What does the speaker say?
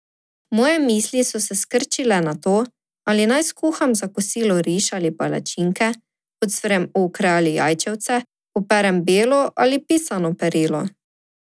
Moje misli so se skrčile na to, ali naj skuham za kosilo riž ali palačinke, ocvrem okre ali jajčevce, operem belo ali pisano perilo ...